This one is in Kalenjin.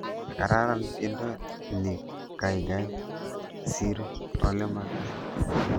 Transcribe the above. Gararan tyendo ni gaigai siir olemagaat